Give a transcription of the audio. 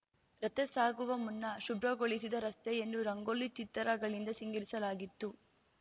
ರಥಸಾಗುವ ಮುನ್ನ ಶುಭ್ರಗೊಳಿಸಿದ ರಸ್ತೆಯನ್ನು ರಂಗೋಲಿ ಚಿತ್ತಾರಗಳಿಂದ ಸಿಂಗರಿಸಲಾಗಿತ್ತು